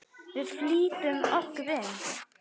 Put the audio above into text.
Við flýtum okkur inn.